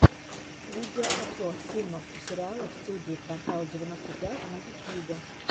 видеообзор фильмов и сериалов студии квартал девяносто пять на ютьюбе